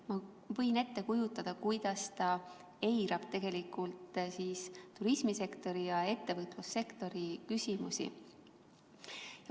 Ma võin ette kujutada, kuidas ta tegelikult eirab turismisektori ja ettevõtlussektori küsimusi.